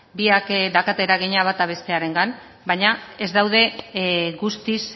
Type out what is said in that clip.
biak daukate eragina bata bestearengan baina ez daude guztiz